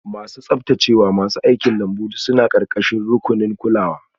Masu tsaftacewa, masu aikin lambu duk suna ƙarƙashin rukunin kulawa.